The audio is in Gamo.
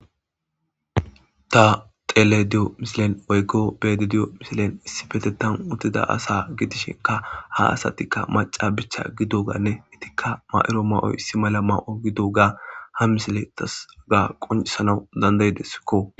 Ta xele diyo misilen oyggo beede diyo misilen issi petetan utida asa gidishinka ha asatikka maca bicha gido ganne itikka ma'iro mayo issi mala ma'yo gido ga ha misile tasaga qoncisanau dandayidesikko